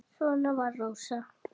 Svona var Rósa.